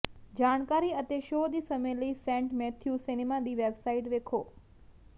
ਜਾਣਕਾਰੀ ਅਤੇ ਸ਼ੋ ਦੀ ਸਮੇਂ ਲਈ ਸੈਂਟ ਮੈਥਿਊ ਸਿਨੇਮਾ ਦੀ ਵੈੱਬਸਾਈਟ ਵੇਖੋ